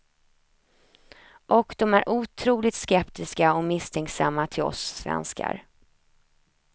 Och de är otroligt skeptiska och misstänksamma till oss svenskar.